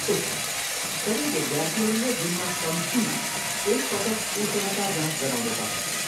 उत्तम! सबै विद्यार्थीहरूले दिनमा कम्तीमा एक पटक उष्णता जाँच गराउनु पर्नेछ।